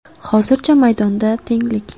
Hozircha maydonda tenglik.